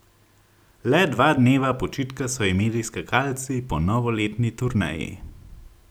Le dva dneva počitka so imeli skakalci po novoletni turneji.